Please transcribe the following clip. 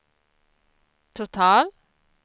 total